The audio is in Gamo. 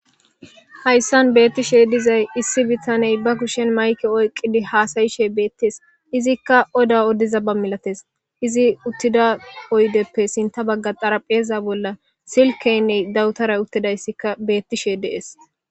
hayssan beettishe dizay issi bittaney ba kushen mayke oyqqidi haasayishe beettes izikka oda oddiza ba milates izi uttida poydeppe sinta bagga xarapheza bolla silkeynney dawutara uttidayssikka beettishe dees